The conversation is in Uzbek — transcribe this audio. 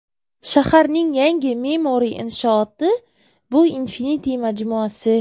Shaharning yangi me’moriy inshooti bu Infinity majmuasi.